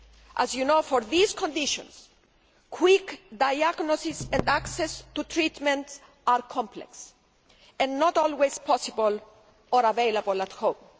As you know, for these conditions, quick diagnosis and access to treatment are complex and not always possible or available at home.